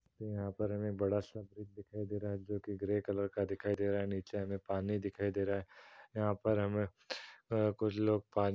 यहाँ पर हमे बड़ा सा ब्रिज दिखाई दे रहा है जोकि ग्रे कलर का दिखाई दे रहा है। नीचे हमें पानी दिखाई दे रहा है। यहाँ पर हमें कुछ लोग पान --